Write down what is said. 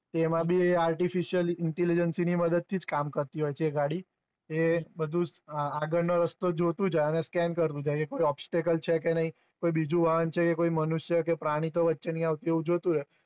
એમા વી artifisial intelligence ની જ મદદ થી જ કામ કરતી હોય છે એ ગાડી એ બધું જ આગળ નો રસ્તો જોતું જાય ન scan કરતુ જાય એ કઈ obstacle છે કે નઈ કોઈ બીજું વાહન છે કોઈ મનુષ્ય કે કોઈ પ્રાણી તો વચ્ચે નથી આવ એવું જોયતું હોય